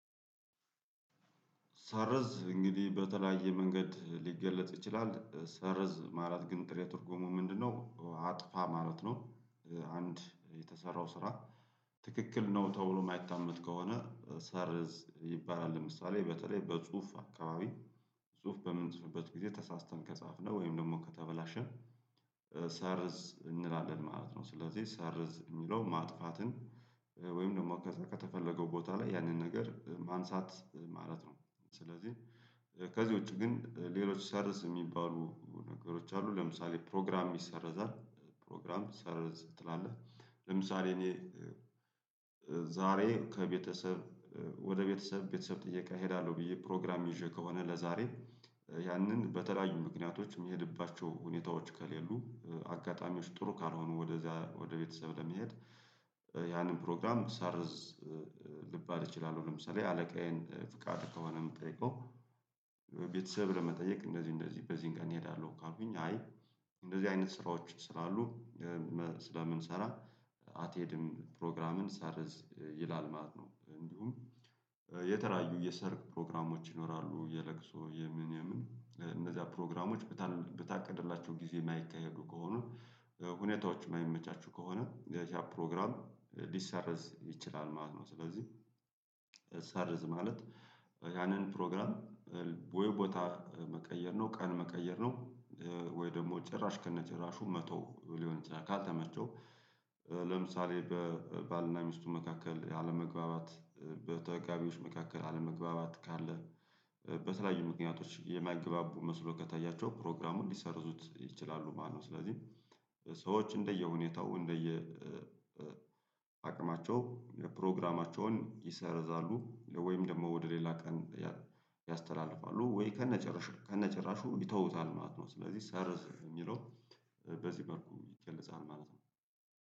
ሰርዝ እንግዲህ በተለያየ መንገድ ሊገለጥ ይችላል ሰርዝ ማለት ግን ጥሬ ትርጉሙ ምንድነው አጥፋ ማለት ነው? አንድ የተሰራው ስራ። ትክክል ነው ተብሎ የማይታመን ከሆነ ሰርዝ ይባላል ለምሳሌ በተለይ በጽሁፍ አካባቢ ጽሁፍ በምንጽፍበት ጊዜ ተሳስተን ከጻፍነው ወይም ደግሞ ከተበላሸ ሰርዝ እንላለን ማለት ነው። ስለዚህ ሰርዝ የሚለው ማጥፋትን ወይም ደግሞ ከተፈለገው ቦታ ላይ ያንን ነገር ማንሳት ማለት ነው። ስለዚህ ከዚህ ውጪ ግን ሌሎች ሰርዝ የሚባሉ ነገሮች አሉ ለምሳሌ ፕሮግራም ይሰረዛል ፕሮግራም ሰርዝ ትላለህ። ለምሳሌ እኔ ዛሬ ከቤተሰብ ወደ ቤተሰብ ቤተሰብ ጥያቄ እሄዳለሁ ብዬ ፕሮግራም ይዤ ከሆነ ለዛሬ ያንን በተለያዩ ምክንያቶች የሚሄድባቸው ሁኔታዎች ከሌሉ አጋጣሚዎች ጥሩ ካልሆኑ ወደዚያ ወደ ቤተሰብ ለመሄድ ያንን ፕሮግራም ሰርዝ ልባል እችላለሁ። ለምሳሌ አለቃዬን ፍቃድ ከሆነ የምጠይቀው ቤተሰብ ለመጠየቅ እንደዚህ እንደዚህ በዚህን ቀን እሄዳለሁ ካልኩኝ አይ እንደዚህ አይነት ስራዎች ስለሉ ስለምንሰራ አትሄድም ፕሮግራምን ሰርዝ ይላል ማለት ነው። እንዲሁም የተለያዩ የሰርግ ፕሮግራሞች ይኖራሉ የለቅሶ የምን የምን እነዚያ ፕሮግራሞች በታ በታቀደላቸው ጊዜ የማይከሄዱ ከሆኑ ሁኔታዎች የማይመቻቹ ከሆነ እነዚያ ፕሮግራም ሊሰርዝ ይችላል ማለት ነው። ስለዚህ ሰርዝ ማለት ያንን ፕሮግራም ወይ ቦታ መቀየር ነው ቀን መቀየር ነው ወይ ደግሞ ጭራሽ ከነጭራሹ መተው ሊሆን ይችላል። ካልተመቸው ለምሳሌ በባልና ሚስቱ መካከል አለመግባባት በተጋቢዎች መካከል አለመግባባት ካለ በተለያዩ ምክንያቶች የማይግባቡ መስሎ ከታያቸው ፕሮግራሙ ሊሰርዙት ይችላሉ ማለት ነው። ስለዚህ ሰዎች እንደየሁኔታው እንደየ አቅማቸው ፕሮግራማቸውን ይሰርዛሉ ወይም ደግሞ ወደ ሌላ ቀን ያስተላልፋሉ ወይ ከነጨራሹ ከነጭራሹ ይተውታል ማለት ነው። ስለዚህ ሰርዝ የሚለው በዚህ መልኩ ይገለጻል ማለት ነው